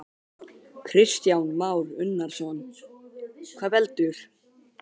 Kristján Már Unnarsson: Hvað veldur?